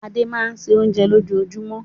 Adé máa ń se oúnjẹ lójoojúmọ́.